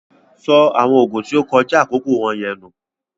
Sọ awọn oogun tí o kọja akoko wọnyẹn nù!